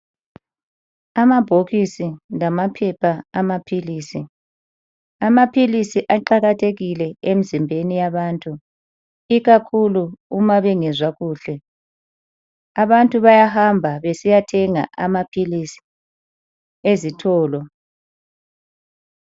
Amabhokisi lamaphepha amaphilizi, amaphilisi aqakathekile emzimbeni yabantu ikakhulu uma bengezwa kuhle. Abantu bayahamba besiya thenga amaphilizi ezitolo.